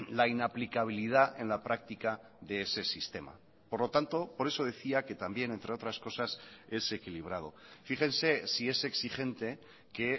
la inaplicabilidad en la práctica de ese sistema por lo tanto por eso decía que también entre otras cosas es equilibrado fíjense si es exigente que